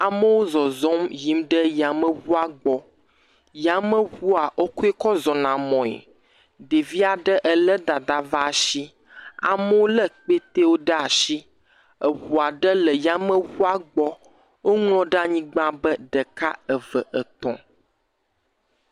Amewo zɔzɔm yim ɖe yameʋua gbɔ. Yameʋua wokɔe kɔ zɔna mɔe. Ɖevia ɖe le edada ƒe ashi. Amewo le kpetewo ɖe ashi. Eʋua ɖe le yameʋua gbɔ. Woŋlɔ ɖe anyigba be ɖeka, eve, etɔ̃.